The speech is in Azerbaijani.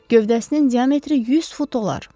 Gövdəsinin diametri 100 fut olar.